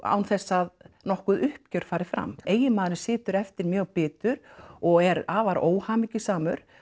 án þess að nokkuð uppgjör fari fram eiginmaðurinn situr eftir mjög bitur og er afar óhamingjusamur